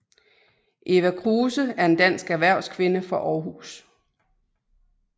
Eva Kruse er en dansk erhvervskvinde fra Aarhus